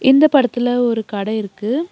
இந்த படத்துல ஒரு கட இருக்கு.